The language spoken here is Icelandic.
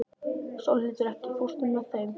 Sólhildur, ekki fórstu með þeim?